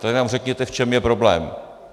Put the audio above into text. Tak nám řekněte, v čem je problém!